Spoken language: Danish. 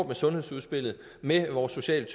med sundhedsudspillet med vores sociale